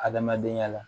Adamadenya la